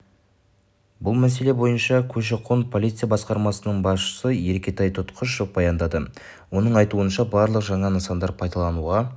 бұл мәселе бойынша көші-қон полиция басқармасының басшысы еркетай тұтқышев баяндады оның айтуынша барлық жаңа нысандар пайдалануға